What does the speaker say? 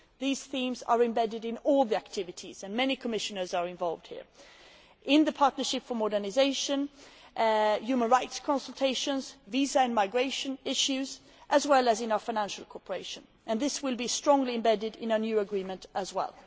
These themes are embedded in all the activities and many Commissioners are involved here in the Partnership for Modernisation, human rights consultations, visa and migration issues as well as in our financial cooperation, and this will be strongly embedded in our new agreement as